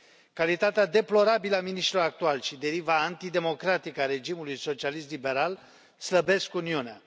Calitatea deplorabilă a miniștrilor actuali și deriva antidemocratică a regimului socialist liberal slăbesc Uniunea.